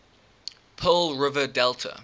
pearl river delta